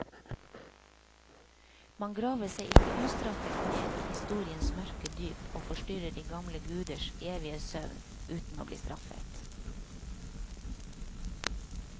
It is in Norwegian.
Man graver seg ikke ustraffet ned i historiens mørke dyp og forstyrrer de gamle guders evige søvn uten å bli straffet.